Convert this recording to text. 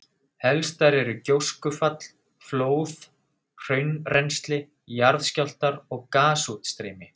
Helstar eru gjóskufall, flóð, hraunrennsli, jarðskjálftar og gasútstreymi.